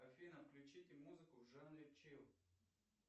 афина включите музыку в жанре чилл